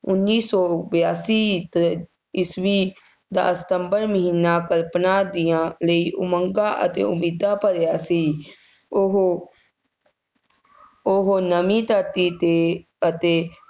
ਉੱਨੀ ਸੌ ਬਿਆਸੀ ਈਸ~ ਈਸਵੀ ਦਾ ਸਤੰਬਰ ਮਹੀਨਾ ਕਲਪਨਾ ਦੀਆਂ ਲਈ ਉਮੰਗਾਂ ਅਤੇ ਉਮੀਦਾਂ ਭਰਿਆ ਸੀ। ਉਹ ਉਹ ਨਵੀਂ ਧਰਤੀ 'ਤੇ ਅਤੇ